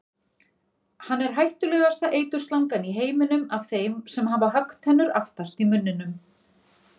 Hann er hættulegasta eiturslangan í heiminum af þeim sem hafa höggtennur aftast í munninum.